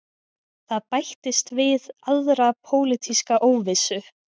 Það bætist við aðra pólitíska óvissu